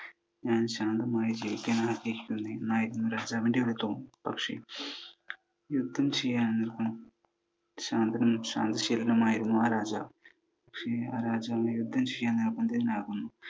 താൻ ശാന്തമായി ജീവിക്കാൻ ആഗ്രഹിക്കുന്നു എന്നായിരുന്നു രാജാവിൻ്റെ വിധം. പക്ഷെ യുദ്ധം ചെയ്യാൻ, ശാന്തനും ശാന്തശീലനുമായിരുന്ന ആ രാജാവ് യുദ്ധം ചെയ്യാൻ നിർബന്ധിതനാകുന്നു.